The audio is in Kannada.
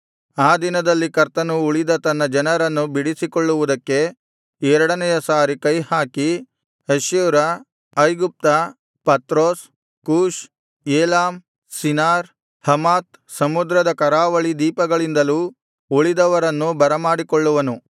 ಆ ದಿನದಲ್ಲಿ ಕರ್ತನು ಉಳಿದ ತನ್ನ ಜನರನ್ನು ಬಿಡಿಸಿಕೊಳ್ಳುವುದಕ್ಕೆ ಎರಡನೆಯ ಸಾರಿ ಕೈಹಾಕಿ ಅಶ್ಶೂರ ಐಗುಪ್ತ Pathros Cush Elam Shinar Hamath ಸಮುದ್ರದ ಕರಾವಳಿ ದ್ವೀಪಗಳಿಂದಲೂ ಉಳಿದವರನ್ನು ಬರಮಾಡಿಕೊಳ್ಳುವನು